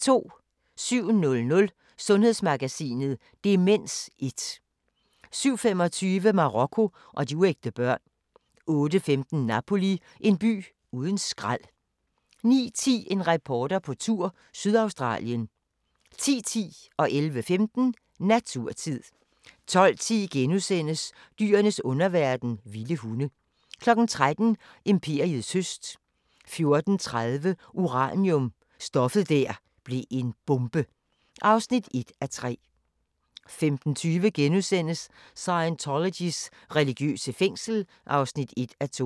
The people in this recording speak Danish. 07:00: Sundhedsmagasinet: Demens 1 07:25: Marokko og de uægte børn 08:15: Napoli – en by uden skrald 09:10: En reporter på tur – Sydaustralien 10:10: Naturtid 11:15: Naturtid 12:10: Dyrenes underverden – vilde hunde * 13:00: Imperiets høst 14:30: Uranium – stoffet der blev en bombe (1:3) 15:20: Scientologys religiøse fængsel (1:2)*